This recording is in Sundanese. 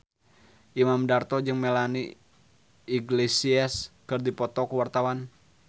Imam Darto jeung Melanie Iglesias keur dipoto ku wartawan